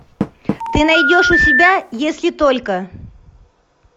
ты найдешь у себя если только